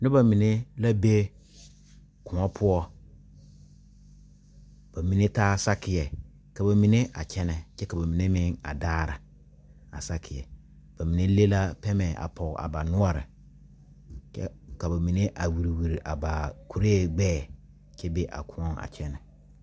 Noba mene la be koɔ poʊ. Ba mene taa sakiɛ. Ka ba mene a kyɛne. Kyɛ ka ba mene meŋ a daara a sakiɛ. Ba mene le la pɛmɛ a poge a ba nuore kyɛ ka ba mene a wure wure a ba kurɛ gbɛɛ kyɛ be a koɔ a kyɛne.